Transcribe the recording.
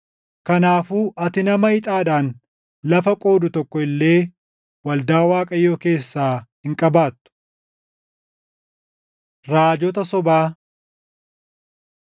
Kanaafuu ati nama ixaadhaan lafa qoodu tokko illee waldaa Waaqayyoo keessaa hin qabaattu. Raajota Sobaa